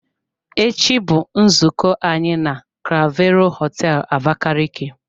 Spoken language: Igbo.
Echi bụ nzukọ anyị na clavero hoteelu Abakaliki.